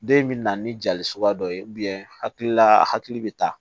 Den in bɛ na ni jali suguya dɔ ye hakilila a hakili bɛ taa